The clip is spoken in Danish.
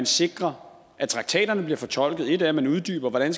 sikre at traktaterne bliver fortolket et er at man uddyber hvordan